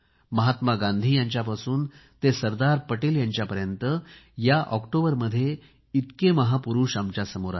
महात्मा गांधी यांच्यापासून ते सरदार पटेल यांच्यापर्यंत या ऑक्टोबरमध्ये इतके महापुरूष आमच्यासमोर आहेत